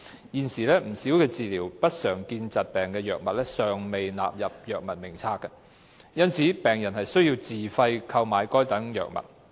現時有不少治療不常見疾病的藥物尚未納入藥物名冊，因此病人需自費購買該等藥物。